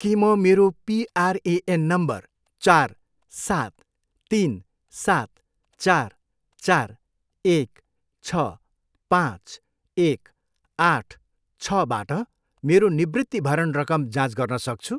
के म मेरो पिआरएएन नम्बर चार, सात, तिन, सात, चार, चार, एक, छ, पाँच, एक, आठ, छबाट मेरो निवृत्तिभरण रकम जाँच गर्न सक्छु?